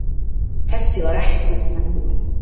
Þessi var ekkert merkileg.